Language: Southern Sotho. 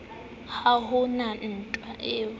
ha ho na ntwa e